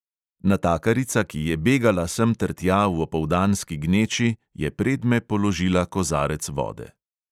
Natakarica, ki je begala semtertja v opoldanski gneči, je predme položila kozarec vode.